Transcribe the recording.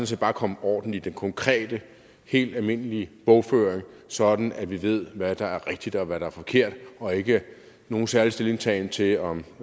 set bare kommer orden i den konkrete helt almindelige bogføring sådan at vi ved hvad der er rigtigt og hvad der er forkert og ikke nogen særlig stillingtagen til om